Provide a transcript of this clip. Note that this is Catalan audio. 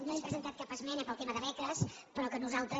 no hem presentat cap esmena pel tema de beques però que nosaltres